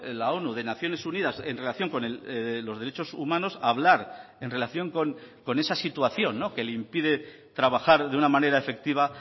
la onu de naciones unidas en relación con los derechos humanos hablar en relación con esa situación que le impide trabajar de una manera efectiva